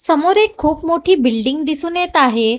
समोर एक खूप मोठी बिल्डिंग दिसून येत आहे.